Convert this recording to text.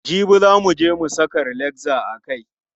Jibi za muje mu saka relaxer a kai.